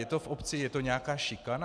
Je to v obci, je to nějaká šikana?